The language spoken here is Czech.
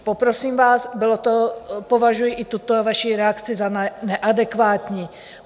Poprosím vás, považuji i tuto vaši reakci za neadekvátní.